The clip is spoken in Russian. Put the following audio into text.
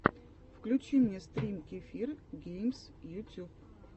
включи мне стрим кефир геймс ютюб